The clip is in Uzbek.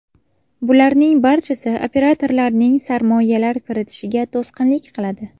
Bularning barchasi operatorlarning sarmoyalar kiritishiga to‘sqinlik qiladi.